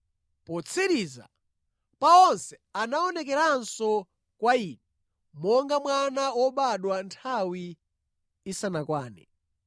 Potsiriza pa onse anaonekeranso kwa ine, monga mwana wobadwa nthawi isanakwane.